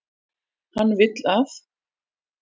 Hann vill að.